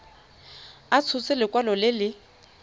a tshotse lekwalo le le